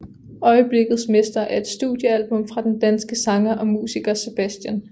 Øjeblikkets mester er et studiealbum fra den danske sanger og musiker Sebastian